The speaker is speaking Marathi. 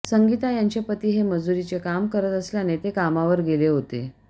संगीता यांचे पती हे मजुरीचे काम करत असल्याने ते कामावर गेले होते